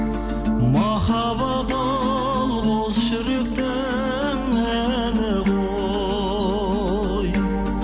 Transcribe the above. махаббат ол қос жүректің әні ғой